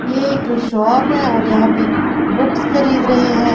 ये एक शॉप हैऔर यहां पे बुक्स खरीद रहे हैं।